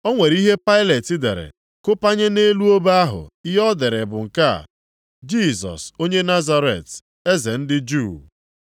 O nwere ihe Pailet dere kụpanye nʼelu obe ahụ. Ihe o dere bụ nke a: Jisọs onye Nazaret, Eze ndị Juu.